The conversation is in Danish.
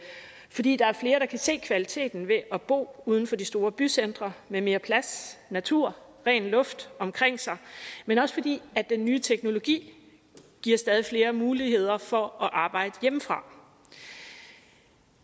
fordi der er flere der kan se kvaliteten ved at bo uden for de store bycentre med mere plads natur og ren luft omkring sig men også fordi den nye teknologi giver stadig flere muligheder for at arbejde hjemmefra